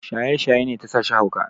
Shaye-shaye ne ta sashi hauka.